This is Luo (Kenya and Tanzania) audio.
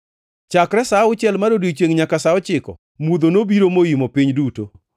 Chakre sa auchiel mar odiechiengʼ nyaka sa ochiko, mudho nobiro moimo piny duto.